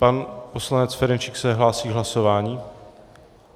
Pan poslanec Ferjenčík se hlásí k hlasování?